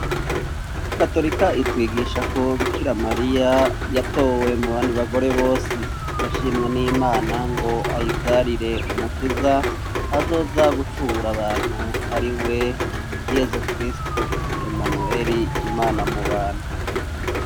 Katorika itwigisha ko Bikiramariya yatowe mu bandi bagore bose yashimwe n'imana ngo ayivyarire umukiza azoza gucungura abantu ari we yezu kristu emanweri imana mu bantu.